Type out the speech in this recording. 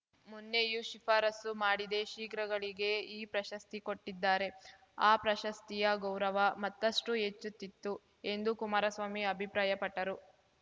ಮೊನ್ನೆಯೂ ಶಿಫಾರಸು ಮಾಡಿದೆ ಶ್ರೀಗ್ರಾಗಳಿಗೆ ಈ ಪ್ರಶಸ್ತಿ ಕೊಟ್ಟಿದ್ದಾರೆ ಆ ಪ್ರಶಸ್ತಿಯ ಗೌರವ ಮತ್ತಷ್ಟುಹೆಚ್ಚುತ್ತಿತ್ತು ಎಂದು ಕುಮಾರಸ್ವಾಮಿ ಅಭಿಪ್ರಾಯಪಟ್ಟರು